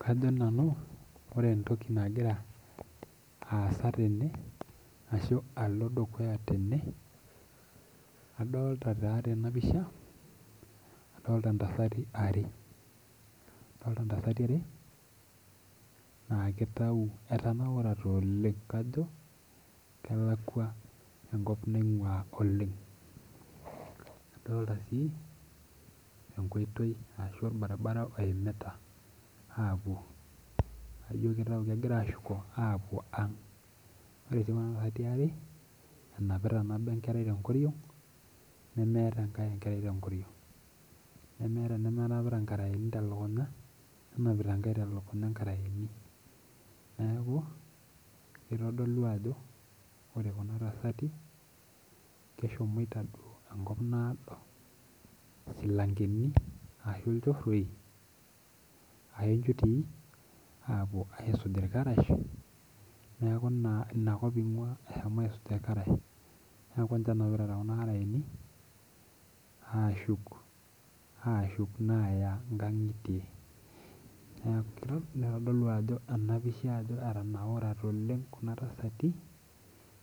Kajo nanu ore entoki nagira aasa tene ashu alo dukuya tene adolta taa tena pisha adolta intasati are adolta intasati are naa kitau etanaurate oleng kajo kelakua enkop naing'ua oleng adolta sii enkoitoi ashu orbaribara oimita aapuo naijio kitau kegira ashuko apuo ang ore sii kuna tasati are enapita nabo enkerai tenkoriong nemeeta enkae enkerai tenkoriong nemeeta enemenapita inkarayeni telukunya nenapita enkae telukunya inkarayeni niaku kitodolu ajo ore kuna tasati keshomoita enkop naado isilankeni ashu ilchorroi ashu injutii apuo aisuj irkarash neku naa inakop ing'ua eshomo aisuj irkarash neku inche enapita tekuna arayeni ashuk, ashuk naa aya inkang'itie neku kei nitodolu ena pisha ajo etanaurate oleng kuna tasati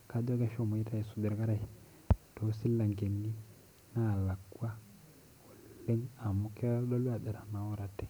kajo keshomoito aisuj irkarash tosilankeni nalakua neku amu kitodolu ajo etanaurate .